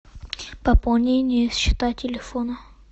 пополнение счета телефона